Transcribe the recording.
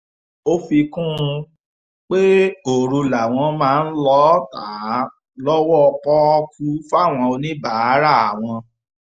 ó fi kún un pé òru làwọn máa ń lọọ́ ta á lọ́wọ́ pọ́ọ́kú fáwọn oníbàárà àwọn